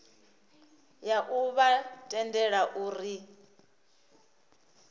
ya u vha tendela uri